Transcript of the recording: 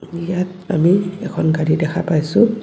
ইয়াত আমি এখন গাড়ী দেখা পাইছোঁ.